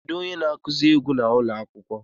Kedu onye na-akụzi egwu n'ụlọ akwụkwọ?